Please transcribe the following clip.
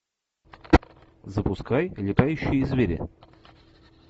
запускай летающие звери